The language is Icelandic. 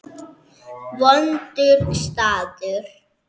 Vondur staður.